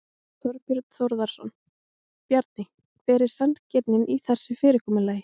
Þorbjörn Þórðarson: Bjarni hver er sanngirnin í þessu fyrirkomulagi?